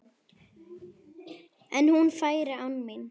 En hún færi án mín.